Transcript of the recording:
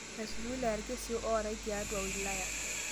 Mesuj wilaya lkesi ootai tiatua ina wilaya